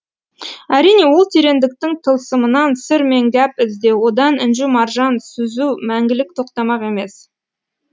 әрине ол терендіктің тылсымынан сыр мен гәп іздеу одан інжу маржан сүзу мәңгілік тоқтамақ емес